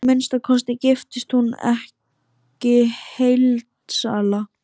Að minnsta kosti giftist hún ekki heildsala.